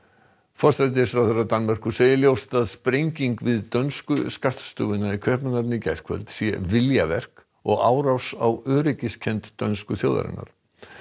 forsætisráðherra Danmerkur segir ljóst að sprenging við dönsku skattstofuna í Kaupmannahöfn í gærkvöld sé viljaverk og árás á öryggiskennd dönsku þjóðarinnar